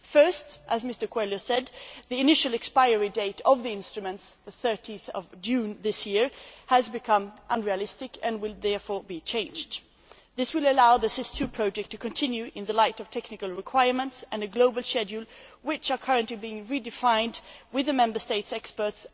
First, as Mr Coelho said, the initial expiry date of the instruments 30 June this year has become unrealistic and will therefore be changed. This will allow the SIS II project to continue in the light of technical requirements and a global schedule which are currently being redefined with the Member States' experts.